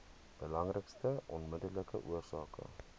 belangrikste onmiddellike oorsake